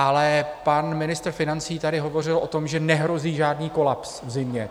Ale pan ministr financí tady hovořil o tom, že nehrozí žádný kolaps v zimě.